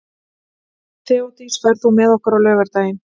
Þeódís, ferð þú með okkur á laugardaginn?